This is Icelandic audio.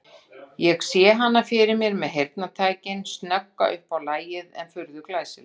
Ég sé hana fyrir mér með heyrnartækin, snögga upp á lagið en furðu glæsilega.